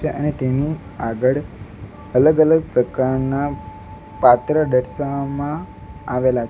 અને તેની આગળ અલગ અલગ પ્રકારના પાત્ર દર્શાવવામાં આવેલા --